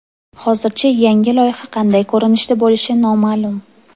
Hozircha yangi loyiha qanday ko‘rinishda bo‘lishi noma’lum.